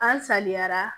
An saliyara